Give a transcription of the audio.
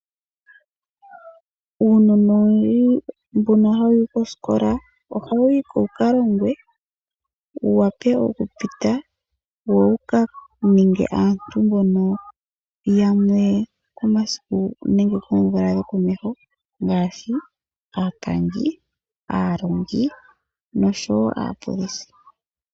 Uunona owundji mbono hawuyi koskola, ohawuyi ko wuka longwe, wu wape oku pita wo wuka ninge aantu mbono yamwe komasiku nenge koomvula dhokomeho ngaashi aapangi, aalongi noshowo aapolisi.